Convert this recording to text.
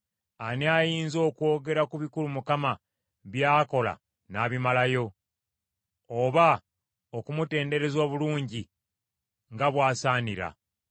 Ani ayinza okwogera ku bikulu Mukama by’akola n’abimalayo, oba okumutendereza obulungi nga bw’asaanira?